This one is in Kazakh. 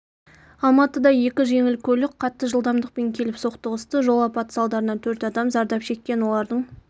алматыда екі жеңіл көлік қатты жылдамдықпен келіп соқтығысты жол апаты салдарынан төрт адам зардап шеккен олардың